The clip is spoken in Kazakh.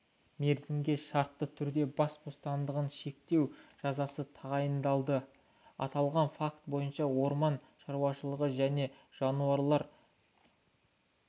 мерзімге шартты түрде бас бостандығын шектеу жазасы тағайындалды аталған факт бойынша орман шаруашылығы және жануарлар